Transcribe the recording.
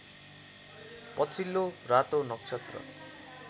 पछिल्लो रातो नक्षत्र